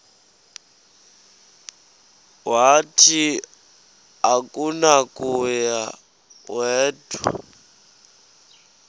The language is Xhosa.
wathi akunakuya wedw